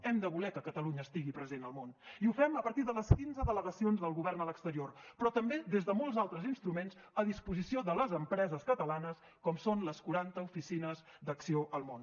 hem de voler que catalunya estigui present al món i ho fem a partir de les quinze delegacions del govern a l’exterior però també des de molts altres instruments a disposició de les empreses catalanes com són les quaranta oficines d’acció al món